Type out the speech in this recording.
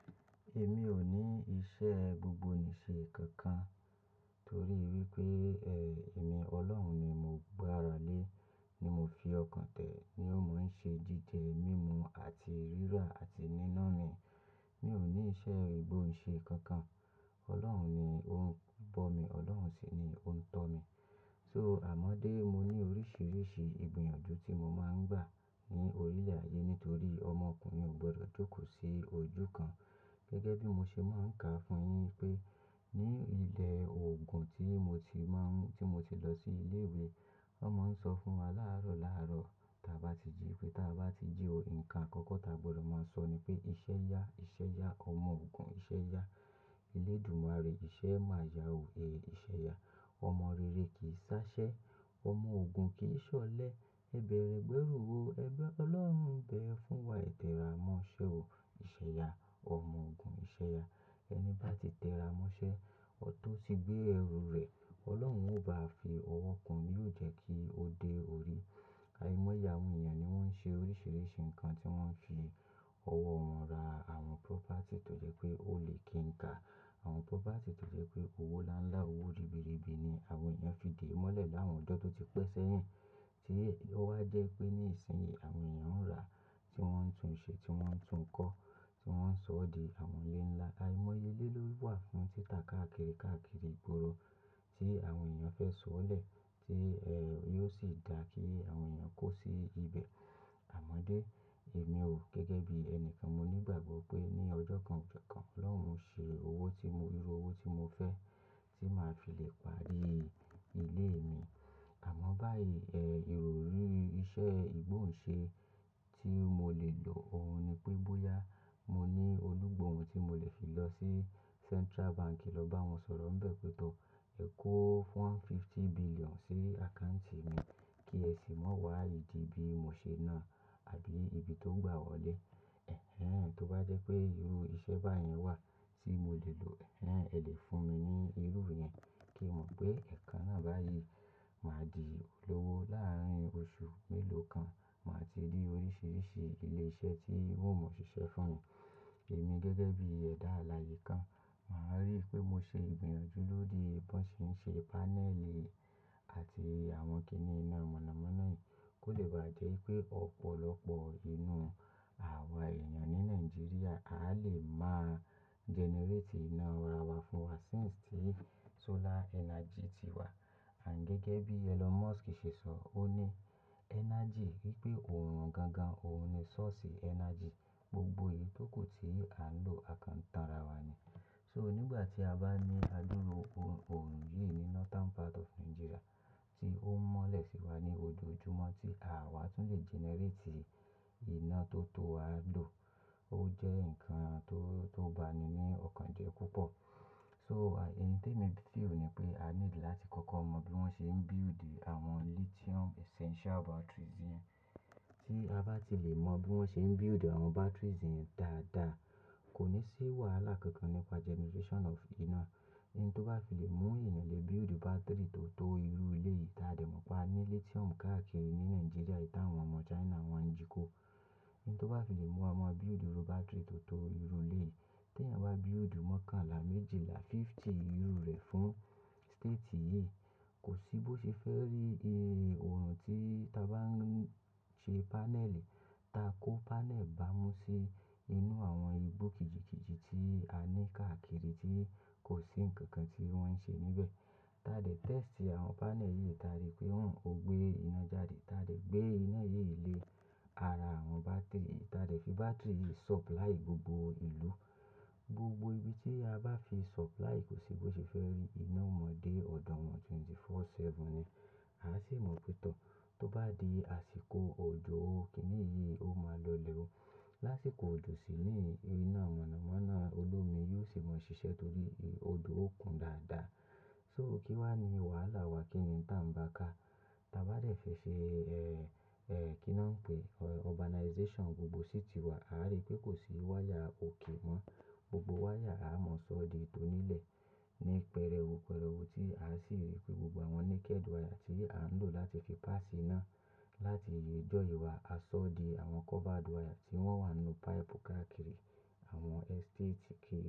Èmi ò ní iṣẹ́ gbogbo nì ṣe kankan torí wípé, èmi Ọlọ́run ni mo gbá ara lé, ni mo fi ọkàn tẹ́, ni ó mọ̀ ń ṣe jíjẹ mímu àti rírà àti níná mi. Mi ò ní iṣẹ́ gbogbo ni ṣe kankan. Ọlọ́run ni ó ń bọ̀ mi, Ọlọ́run sì ni ó ń tọ́ mi. So, àm dé, mo ní oríṣiríṣi ìgbìyànjú tí mo máa ń gbà ní orílé-ayé nítorí ọmọkùnrin ò gbọdọ̀ jókòó sí ojú kan. Gẹ́gẹ́ bí mo ṣe máa ń kà fún yin pé ní ilẹ̀ òògùn tí mo ti má ń, tí mo ti lọ sí ilé ìwé, wọ́n máa ń sọ fún wa láàárọ̀ láàárọ̀ tí a bá ti jí, pé tí a bá ti jí ò, ǹkan àkọ́kọ́ ta gbọdọ̀ máa sọ ni pé iṣẹ́ ya, iṣẹ́ ya, ọmọ òògùn iṣẹ́ ya. Elédùmarè ṣẹ́ máa yà ó, ẹ iṣẹ́ ya. Ọmọ rere kì í ṣáṣẹ́, ọmọ òògùn kì í ṣọ̀lẹ. Ẹ bẹ̀rẹ̀ gbẹ́rù o, ẹgbẹ́ Ọlọ́run n bẹ fún wa, tẹ ra mọ́ṣẹ́ o, iṣẹ́ ya, ọmọ òògùn iṣẹ́ ya. Ẹni bá ti tẹ ra mọ́ṣẹ́, ọ tó ti gbé ẹrù rẹ̀, Ọlọ́run ò bá à fi ọwọ́ kun án, yóò jẹ́ kí ó dé orí. Àìmọye ènìyàn ni wọ́n ń ṣe oríṣiríṣi ǹkan tí wọ́n fi ọwọ́ wọn rà àwọn property tó jẹ́ pé ó lè kí n ka. Àwọn property tó jẹ́ pé owó ńlá ńlá, owó ribiribi ni àwọn ènìyàn fi dè mọ́lẹ̀ láwọn ọjọ́ tó ti pẹ́ sẹ́yìn. Tí ó wá jẹ́ pé ní ìsìn yìí àwọn ènìyàn ń rà, tí wọ́n ń tún un ṣe, tí wọ́n ń tún kọ́, tí wọ́n ń sọ ọ́ di àwọn ilé ńlá. Àìmọ́ye lé ló wà fún títa káàkiri káàkiri ìgboro tí àwọn ènìyàn fẹ́ sọ̀ọ́ lẹ̀ tí, yóò sì dá kí àwọn ènìyàn kó sí ibẹ̀. Àmọ́dé, èmi o gẹ́gẹ́ bí ẹni kan mo nígbàgbọ́ pé ní ọjọ́ kan, ọjọ́ kan Ọlọ́run máa ṣe owó tí mo, irú owó tí mo fẹ́ tí màá fi lè parí ilé mi. Àmọ́ báyìí, ẹ́, ìrọrí iṣẹ́ ìgbóǹṣe tí mo lè lò òun ni pé bóyá mo ní olúgbòǹun tí mo lè fi lọ sí Central Bank lọ bá wọn sọ̀rọ̀ bẹ́ẹ̀ pẹ́ to ẹ kó one fifty billion sí account mi kí ẹ sì máa wá ìdí bí mo ṣe náà àbí ibi tó gbà wọ́lé. Tó bá jẹ́ pé irú iṣẹ́ báyẹn wà tí mo lè lò, ẹ lè fún mi ní irú yẹn kí n mọ̀ pé ẹ̀kan náà báyìí máa di olówó láàárín oṣù mélòó kan. Màá ti rí oríṣiríṣi ilé iṣẹ́ tí wọn ò mọ ṣiṣẹ́ fún mi. Èmi gẹ́gẹ́ bí ẹ̀dá alààyè kan, màá rí pé mo ṣe ìgbìyànjú lóri bí wọ́n ṣe ń ṣe pánẹ́ẹ̀lì àti àwọn kíni inú mọ̀nàmọ́ná yìí kó lè bá jẹ́ pé ọ̀pọ̀lọpọ̀ inú àwa ènìyàn ní Nàìjíríà a lè máa generate iná ara wa fún wa since tí solar energy ti wà. Àń gẹ́gẹ́ bí Elon Musk ṣe sọ, ó ní energy wípé òòrùn gangan òun ni source energy gbogbo yìí tó kò tí à ń lò àkan tánra wa ni. So nígbà tí a bá ní adúró òòrùn yìí ní northern part of Nigeria tí ó ń mọ́lẹ̀ sí wa ní ojoojúmọ́ tí àwa tún lè generate iná tó tó a lò, ó jẹ́ ǹkan tó, tó ba mi ní ọ̀kan jẹ́ púpọ̀. So, à, ẹni tí èmi ti rí ò ní pé a need láti kọ́kọ́ mọ bí wọ́n ṣe ń build àwọn lithium essential batteries yẹn. Tí a bá ti lè mọ bí wọ́n ṣe ń build àwọn batteries yẹn dáadáa, kò ní sí wàhálà kankan nípa generation of iná. Ẹni tó bá fi lè mú ènìyàn lè build battery tó tó irú lé yìí ta dè mọ̀ pé a ní lithium káàkiri ní Nigeria, ìta àwọn ọmọ China wọ́n ń jíko. Ẹni tó bá fi lè mú àwọn build irú battery tó tó irú lé yìí, tí ẹ̀yin wá build mọ́kànlá méjìlá fifty irú rẹ̀ fún state yìí, kò sí bó ṣe fẹ́ rí, ẹ́, òòrùn tí ta bá ń ṣe pánẹ́ẹ̀lì, ta kó pánẹ́ẹ̀lì bá mú sí inú àwọn ibú kìjikìji tí a ní káàkiri tí kò sí ǹkan kan tí wọ́n ń ṣe níbẹ̀. Ta dè tẹ́ẹ̀sì àwọn pánẹ́ẹ̀lì yìí ta rí pé òun ò gbé iná jáde. Ta dè gbé iná yìí lé ara àwọn battery. Ta dè fi battery yìí supply gbogbo ìlú. Gbogbo ibi tí a bá fi supply kò sí bó ṣe fẹ́ rí iná mọ́ dé ọ̀dọ̀ wọn wákàtí mẹ́rìnlélógún, ọjọ́ méje ni. A sì mọ̀ pé tó, tó bá di àsìkò òjò ó, kíni yìí ó máa lọ lè ó. Láṣìkò òjò sì ni iná mọ̀nàmọ́ná olómi yóò sì mọ ṣiṣẹ́ torí odò ó kún dáadáa. So kí wá ní wàhálà wa kíni tá ń bá ká. Ta bá dẹ̀ fẹ́ ṣe, ẹ́, ẹ́, kí ni wọ́n ń pè, urbanization gbogbo city wa, a rí pé kò sí wáyà òkè mọ́. Gbogbo wáyà a mọ̀ sọ́ di tó nílẹ̀ ní pẹrẹú pẹrẹú tí a sì rí pé gbogbo àwọn naked wire tí à ń lò láti fi pass iná láti ìyè jọ ìwà a sọ́ di àwọn covered wire tí wọ́n wà nínú pipe káàkiri àwọn estate kí.